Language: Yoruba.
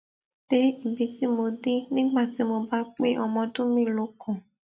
dé ibi tí mo dé nígbà tí mo bá pé ọmọ ọdún mélòó kan